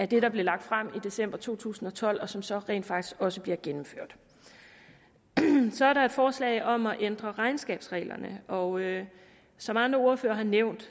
det der blev lagt frem i december to tusind og tolv og som så rent faktisk også bliver gennemført så er der et forslag om at ændre regnskabsreglerne og som andre ordførere har nævnt